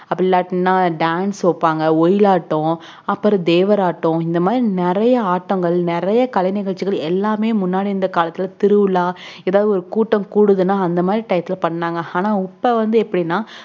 அப்டி இல்லாட்டின dance வைப்பாங்க ஒயிலாட்டம்அப்புறம் தேவராட்டம் இந்த மாதிரி நெறைய ஆட்டங்கள் நெறைய கலை நிகழ்ச்சிகள் எல்லாமே முன்னாடி இருந்த காலத்துல திருவிழா எதாவது கூட்டம்கூடுதுன அந்த மாதிரி time ல பண்ணாங்க உப்ப வந்து எப்டினா